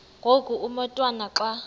ngoku umotwana xa